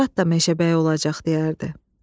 Murad da meşəbəyi olacaq, – deyərdi.